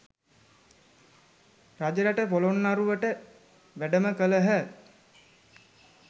රජරට පොළොන්නරුවට වැඩම කළහ